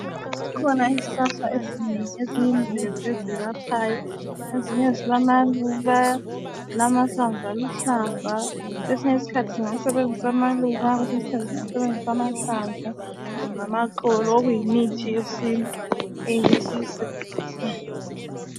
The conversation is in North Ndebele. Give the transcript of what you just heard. Zikhona izihlahla ezinengi eziyimvelo ezelaphayo. Ezinye zilamaluba, zilamahlamvu aluhlaza. Kwesinye iskhathi singasebenzisa amaluba, kwesinye isikhathi singasebenzisa amahlamvu kumbe amaxolo okuyimithi yesintu esiyisebenzisayo.